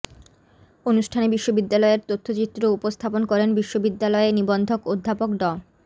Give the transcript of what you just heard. অনুষ্ঠানে বিশ্ববিদ্যালয়ের তথ্যচিত্র উপস্থাপন করেন বিশ্ববিদ্যালয়ে নিবন্ধক অধ্যাপক ড